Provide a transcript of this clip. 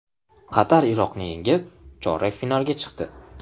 Qatar Iroqni yengib, chorak finalga chiqdi .